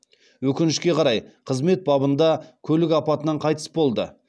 өкінішке қарай қызмет бабында көлік апатынан қайтыс болды